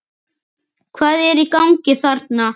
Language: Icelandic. Hvað er í gangi þarna?